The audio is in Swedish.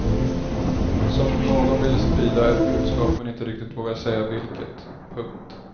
Som om någon vill sprida ett budskap men inte riktigt vågar säga vilket. punkt